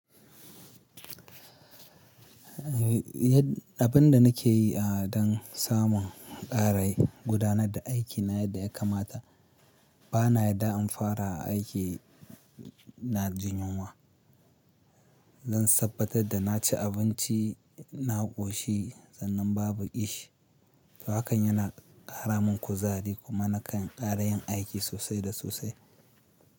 Abin da nake yi don samun ƙara gudanar da aikina yadda ya kamata bana yarda in fara aiki ina jin yunwa. Zan tabbatar da na ci abinci na ƙoshi sannan babu ƙishi. To hakan yana ƙara min kuzari kuma na kan ƙara yin aiki sosai da sosai.